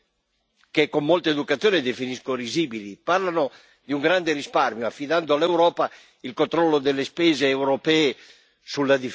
che con molta educazione definisco risibili, parlano di un grande risparmio affidando all'Europa il controllo delle spese europee sulla difesa.